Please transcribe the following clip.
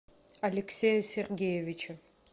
алексея сергеевича